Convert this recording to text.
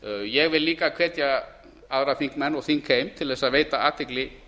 ég vil líka hvetja aðra þingmenn og þingheim til að veita athygli